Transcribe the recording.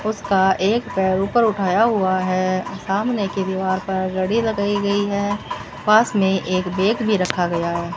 उसका एक पैर ऊपर उठाया हुआ है सामने की दीवार पर घड़ी लगाई गयी है पास मे एक बैग भी रखा गया है।